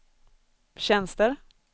tjänster